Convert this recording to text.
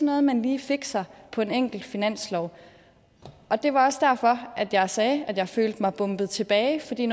noget man lige fikser på en enkelt finanslov og det var også derfor at jeg sagde at jeg følte mig bombet tilbage